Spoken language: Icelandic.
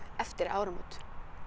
eftir áramót